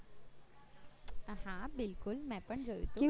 હા હા બિલકુલ મેં પણ જોયું હતું